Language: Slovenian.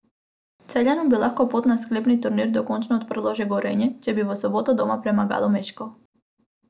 Celjanom bi lahko pot na sklepni turnir dokončno odprlo že Gorenje, če bi v soboto doma premagalo Meškov.